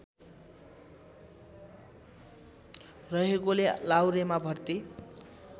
रहेकोले लाहुरेमा भर्ती